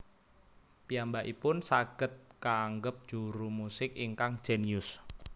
Piyambakipun saged kaangep juru musik ingkang jénius